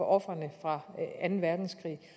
ofrene fra anden verdenskrig